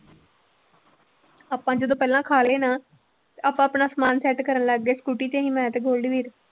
ਆਪਾਂ ਜਦੋਂ ਪਹਿਲਾਂ ਖਾ ਲਏ ਨਾ ਆਪਾਂ ਆਪਣਾ ਸਮਾਨ set ਕਰਨ ਲੱਗ ਗਏ ਸਕੂਟੀ ਤੇ ਸੀ ਮੈਂ ਤੇ ਗੋਲਡੀ ਵੀਰ।